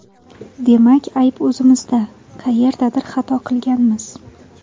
Demak ayb o‘zimizda: qayerdadir xato qilganmiz”.